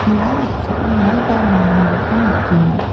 ia noksao maiba manianiko nikenga.